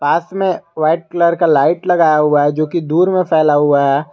घास में white colour का लाइट लगाया हुआ है जो कि दूर में फैला हुआ है।